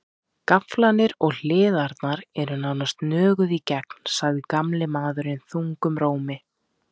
Gaflarnir og hliðarnar eru nánast nöguð í gegn, sagði gamli maðurinn þungum rómi.